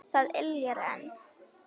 Það yljar enn.